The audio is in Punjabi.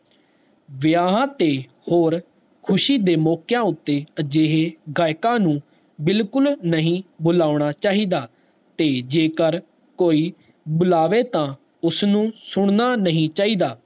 ਵਿਆਹ ਤੇ ਹੋਰ ਖੁਸ਼ੀ ਦੇ ਮੋਕਯਾ ਉਤੇ ਅਜਿਹੇ ਗਾਇਕ ਨੂੰ ਬਿਲਕੁਲ ਵੀ ਨਹੀਂ ਬੁਲਾਉਣਾ ਚਾਹੀਦਾ, ਤੇ ਜੇਕਰ ਕੋਈ ਬੁਲਾਵੇ ਤਾ ਉਸਨੂੰ ਸੁਣਨਾ ਨਹੀਂ ਚਾਹੀਦਾ